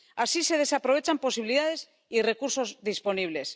Así se desaprovechan posibilidades y recursos disponibles.